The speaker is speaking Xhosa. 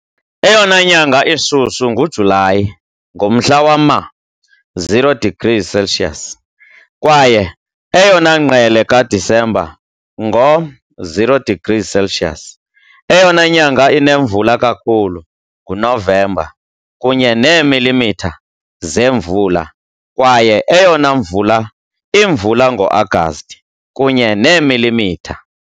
Eyona nyanga ishushu nguJulayi, ngomhla wama-0 degrees Celsius, kwaye eyona ngqele kaDisemba, ngo-0 degrees Celsius. Eyona nyanga inemvula kakhulu nguNovemba, kunye neemilimitha zemvula, kwaye eyona mvula imvula ngoAgasti, kunye neemilimitha .